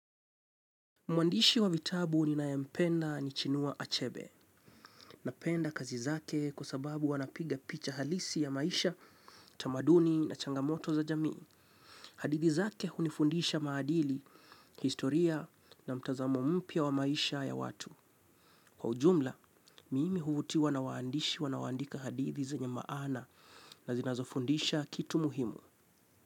Mwandishi wa vitabu ninayempenda ni chinua achebe. Napenda kazi zake kwa sababu anapiga picha halisi ya maisha, tamaduni na changamoto za jamii. Hadithi zake hunifundisha maadili, historia na mtazamo mpya wa maisha ya watu. Kwa ujumla, mimi huvutiwa na waandishi wanaoandika hadithi zenye maana na zinazofundisha kitu muhimu.